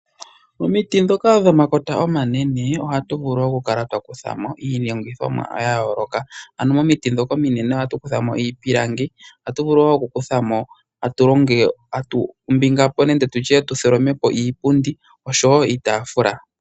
Omiti dhoka dhomakota omanene ohatu vulu okukala twa kutha mo iilongithomwa ya yooloka, ano momiti dhoka ominene ohatu kutha mo iipilangi. Ohatu vulu wo okukutha mo tu tholome po iipundi oshowo iitafula.